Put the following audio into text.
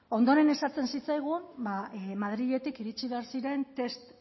ondoren esaten zitzaigun madridetik iritsi behar ziren test